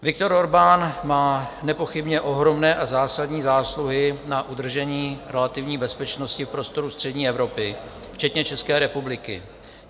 Viktor Orbán má nepochybně ohromné a zásadní zásluhy na udržení relativní bezpečnosti v prostoru střední Evropy, včetně České republiky.